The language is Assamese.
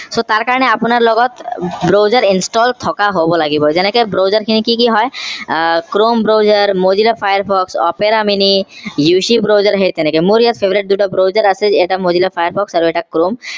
so তাৰ কাৰণে আপোনাৰ লগত browser install থকা হব লাগিব যেনেকে browser খিনি কি কি হয় আহ chrome browser mozilla firefox opera miniUC browser সেই তেনেকে মোৰ ইয়াত favorite দুটা browser আছে এটা mozilla firefox আৰু এটা chrome